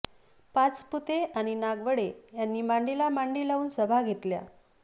पाचपुते अणि नागवडे यांनी मांडीला मांडी लावून सभा घेतल्या